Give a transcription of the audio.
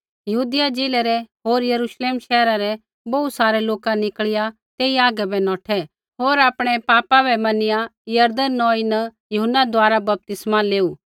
यहूदिया ज़िलै रै होर यरूश्लेम शैहरा रै बोहू सारै लोका निकल़िया तेई हागै बै नौठै होर आपणै पापा बै मनिया यरदन नौई न यूहन्ना द्वारा बपतिस्मा लेऊ